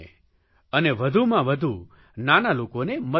અને વધુમાં વધુ નાના લોકોને મદદ કરે